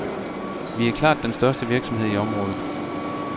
Vi er den klart den største virksomhed i området.